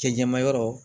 Cɛncɛnmayɔrɔ